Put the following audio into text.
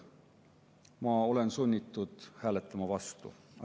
Ma olen sunnitud hääletama vastu.